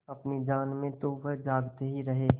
अपनी जान में तो वह जागते ही रहे